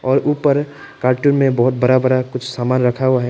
और ऊपर कार्टून में बहुत बड़ा बड़ा कुछ सामान रखा हुआ है।